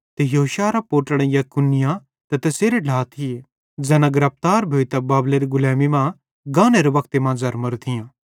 ते योशिय्याहेरां पोट्लड़ां यकुन्याह ते तैसेरे ढ्ला थिये ज़ैना गिरफ्तार भोइतां बाबेलेरी गुलैमी मां गानेरे वक्ते मां ज़र्मोरां थियां